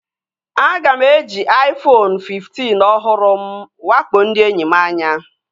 Aga m eji Aifonu fiftin ọhụrụ m wakpo ndị enyi m anya